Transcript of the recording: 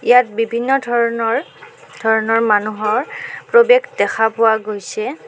ইয়াত বিভিন্ন ধৰণৰ ধৰণৰ মানুহৰ প্ৰবেশ দেখা পোৱা গৈছে.